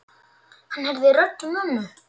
Hann heyrði rödd mömmu.